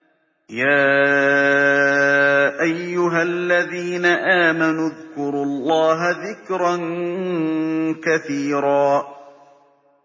يَا أَيُّهَا الَّذِينَ آمَنُوا اذْكُرُوا اللَّهَ ذِكْرًا كَثِيرًا